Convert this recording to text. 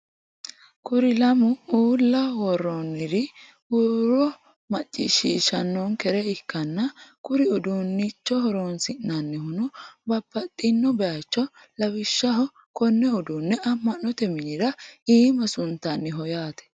kuri lammu uulla woroonniri huuro macciishiishanonkere ikkanna kuri udunnicho horonsi'nannihuno babbaxino bayiicho lawishshaho konne uduune amm'note minnara iima suntanniho yaate.